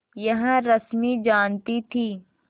यह रश्मि जानती थी